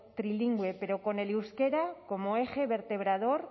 trilingüe pero con el euskera como eje vertebrador